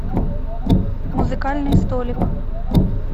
музыкальный столик